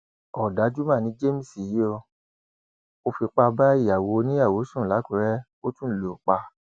ọdájú mà ni james yìí o ò fipá bá ìyàwó oníyàwó sùn làkúrẹ ó tún lù ú pa